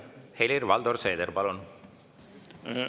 Helir-Valdor Seeder, palun!